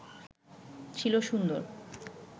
ছিল সুন্দর